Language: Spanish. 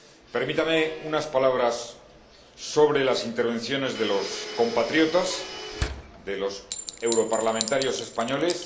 Permítame unas palabras sobre las intervenciones de los compatriotas, de los europarlamentarios españoles.